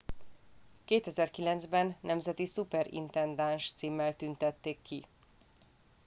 2009 ben nemzeti szuperintendáns címmel tüntették ki